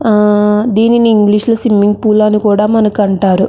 ఆ దీనిని ఇంగ్లీష్ లో స్విమ్మింగ్ పూల్ అని కూడా మనకి అంటారు.